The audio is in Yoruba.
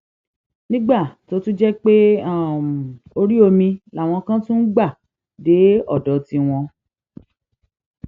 nígbà tó tún jẹ pé um orí omi làwọn kan tún ń gbà um dé odò tí wọn